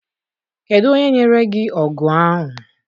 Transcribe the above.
Kedụ onye nyere gị ọgụ ahụ?